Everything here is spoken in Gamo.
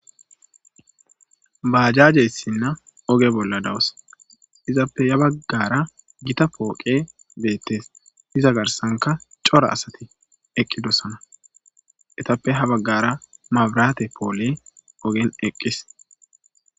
Bajjaje issina ooge bolla dawus izappe ya baggara gitta poqey betees iza garssankka cora assati eqidissona izappe ha bagara mabirate poqey ogen eqidees